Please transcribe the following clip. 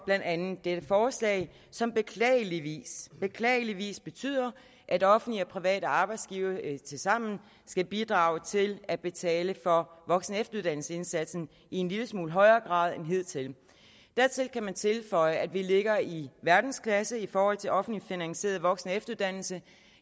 blandt andet dette forslag som beklageligvis beklageligvis betyder at offentlige og private arbejdsgivere tilsammen skal bidrage til at betale for voksen og efteruddannelsesindsatsen i en lille smule højere grad end hidtil dertil kan man tilføje at vi ligger i verdensklasse i forhold til offentligt finansieret voksen og efteruddannelse